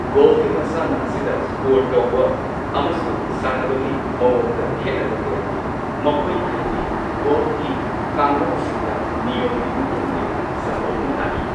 ꯒꯣꯜꯐꯀꯤ ꯃꯁꯥꯟꯅ ꯑꯁꯤꯗ ꯁ꯭ꯀꯣꯔ ꯇꯧꯕ ꯑꯃꯁꯨꯡ ꯁꯥꯟꯅꯕꯒꯤ ꯃꯑꯣꯡꯗ ꯈꯦꯠꯅꯕ ꯀꯌꯥ ꯂꯩ꯫ ꯃꯈꯣꯏ ꯈꯔꯗꯤ ꯒꯣꯜꯐꯀꯤ ꯀꯥꯡꯂꯣꯟꯁꯤꯡꯗ ꯅꯤꯌꯣꯝꯒꯤ ꯃꯇꯨꯡ ꯏꯟꯅ ꯁꯟꯗꯣꯛꯅ ꯇꯥꯛꯏ꯫